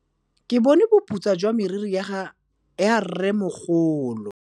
Ke bone boputswa jwa meriri ya rrêmogolo.